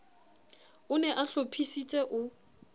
o ne a hlophisitse o